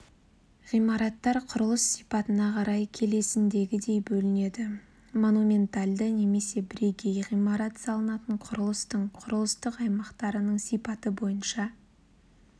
ғимараттар құрылыс сипатына қарай келесіндегідей бөлінеді монументальды немесе бірегей ғимарат салынатын құрылыстың құрылыстық аймақтарынның сипаты бойынша